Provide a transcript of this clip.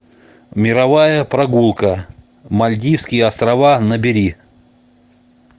мировая прогулка мальдивские острова набери